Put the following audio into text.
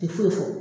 Ti foyi fɔ